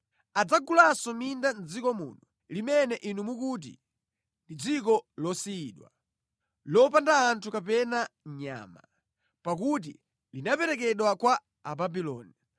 Adzagulanso minda mʼdziko muno, limene inu mukuti, ‘Ndi dziko losiyidwa, lopanda anthu kapena nyama, pakuti linaperekedwa kwa Ababuloni.’